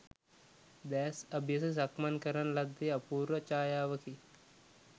දෑස් අබියස සක්මන් කරන ලද්දේ අපූර්ව ඡායාවකි.